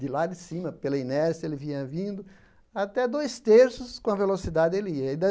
De lá de cima, pela inércia, ele vinha vindo até dois terços com a velocidade ele ia.